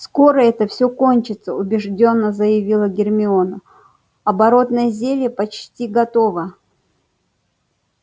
скоро это всё кончится убеждённо заявила гермиона оборотное зелье почти готово